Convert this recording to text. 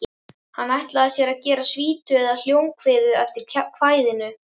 Hann ætlaði sér að gera svítu eða hljómkviðu eftir kvæðinu.